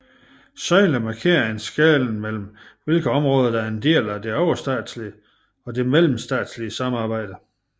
Søjlerne markerer en skelnen mellem hvilke områder der er en del af det overstatslige og det mellemstatslige samarbejde